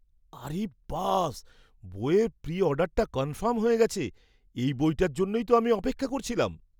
আরিব্বাস! বইয়ের প্রি অর্ডারটা কনফার্ম হয়ে গেছে! এই বইটার জন্যই তো আমি অপেক্ষা করছিলাম।